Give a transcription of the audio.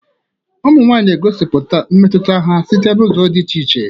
Ụmụ nwanyị na-egosipụta mmetụta ha site n'ụzọ dị iche iche.